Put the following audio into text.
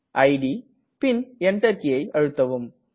it பின் Enter கீயை அழுத்தவும்